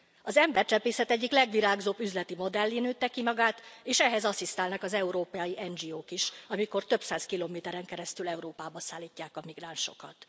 Az embercsempészet egyik legvirágzóbb üzleti modellé nőtte ki magát, és ehhez asszisztálnak az európai NGO k is, amikor több száz kilométeren keresztül Európába szállítják a migránsokat.